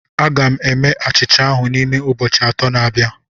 Aga m eme achịcha ahụ n'ime ụbọchị atọ na abịa